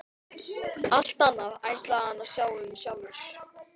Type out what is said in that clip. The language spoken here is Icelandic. Allt annað ætlaði hann að sjá um sjálfur.